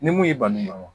Ni mun y'i bani dɔn